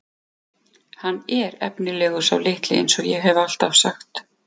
Hann er efnilegur sá litli eins og ég hef alltaf sagt.